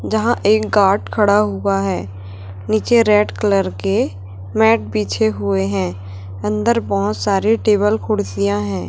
जहां एक गार्ड खड़ा हुआ है नीचे रेड कलर के मैट बिछे हुए हैं अंदर बहोत सारे टेबल कुर्सियां हैं।